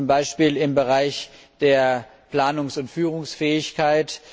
Zum Beispiel im Bereich der Planungs und Führungsfähigkeit.